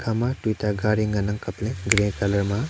ama tuta gari ngan ang kap le gray colour ma.